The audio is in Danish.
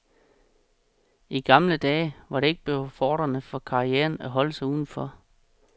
I gamle dage var det ikke befordrende for karrieren at holde sig udenfor.